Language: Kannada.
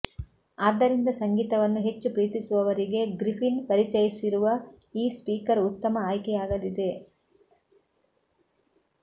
ಆದ್ದರಿಂದ ಸಂಗೀತವನ್ನು ಹೆಚ್ಚು ಪ್ರೀತಿಸುವವರಿಗೆ ಗ್ರಿಫಿನ್ ಪರಿಚಯಿಸಿರುವ ಈ ಸ್ಪೀಕರ್ ಉತ್ತಮ ಆಯ್ಕೆಯಾಗಲಿದೆ